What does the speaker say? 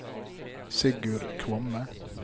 Sigurd Kvamme